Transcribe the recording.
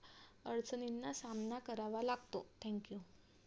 अडचणींना सामना करावा लागतो Thank you